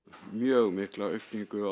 mjög mikla aukningu